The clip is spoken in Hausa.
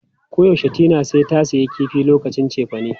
Koyaushe Tina sai ta sayi kifi lokacin cefane.